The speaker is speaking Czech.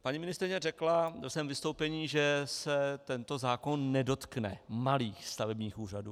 Paní ministryně řekla ve svém vystoupení, že se tento zákon nedotkne malých stavebních úřadů.